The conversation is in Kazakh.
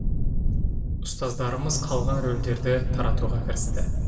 ұстаздарымыз қалған рөлдерді таратуға кірісті